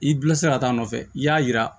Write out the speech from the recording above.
I bilasira ka taa a nɔfɛ i y'a jira